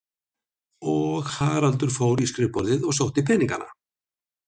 Og Haraldur fór í skrifborðið og sótti peningana.